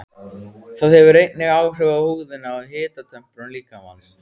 Það hefur einnig áhrif á húðina og hitatemprun líkamans.